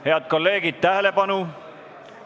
Head kolleegid, tähelepanu!